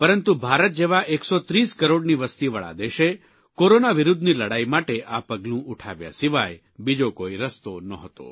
પરંતુ ભારત જેવા ૧૩૦ કરોડની વસતીવાળા દેશે કોરોના વિરૂદ્ધની લડાઇ માટે આ પગલું ઉઠાવ્યા સિવાય બીજો કોઇ રસ્તો નહોતો